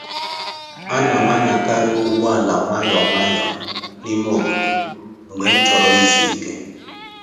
Ana m anyakarị ụgbọ ala nwayọ nwayọ n'ime obodo mgbe m chọrọ ịzụ ike